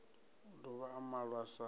o dovha a malwa sa